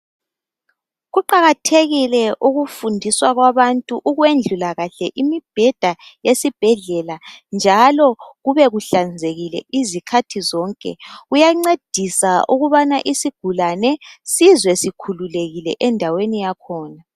Kuqakathekile ukufundiswa kwabantu ukwendlula kuhle imibheda yesibhedlela njalo kube kuhlanzekile izikhathi zonke kuyancedisa ukubana isigulane sizwe sikhululekile endaweni yakhona.